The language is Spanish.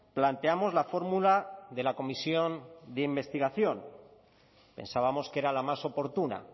planteamos la fórmula de la comisión de investigación pensábamos que era la más oportuna